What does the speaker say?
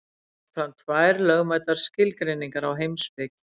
Ég legg fram tvær lögmætar skilgreiningar á heimspeki.